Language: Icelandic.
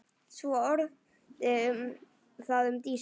Svo orti það um Dísu.